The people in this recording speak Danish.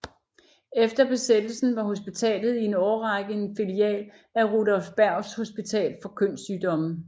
Efter besættelsen var hospitalet i en årrække en filial af Rudolf Bergs Hospital for kønssygdomme